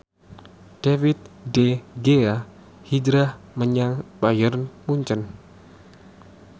David De Gea hijrah menyang Bayern Munchen